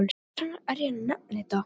Hvers vegna er ég að nefna þetta?